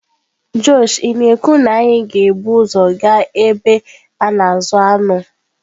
Josh ị na-ekwu na anyị ga-ebu ụzọ gaa ebe a na-azụ anụ?